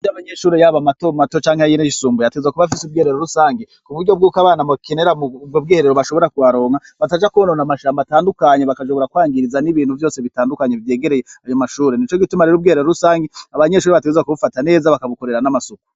Iyaba amashuri y'aba mato mato canke ayisumbuye yateza kuba fise ubwiherero rusange ,ku buryo bwuko abana bokenera bwo bwiherero bashobora kuharonka bataja kubonona amashamba atandukanye bagashobora kwangiriza n'ibintu vyose bitandukanye vyegereye ayo mashuri nico gitumarira ubwiherero rusange abanyeshuri bategerezwa kubufata neza bakabukorera n'amasuku.